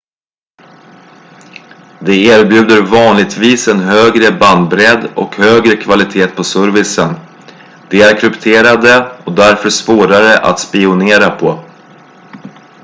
de erbjuder vanligtvis en högre bandbredd och högre kvalitet på servicen de är krypterade och därför svårare att spionera på